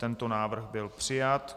Tento návrh byl přijat.